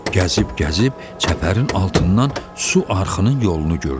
Gəzib-gəzib çəpərin altından su arxının yolunu gördü.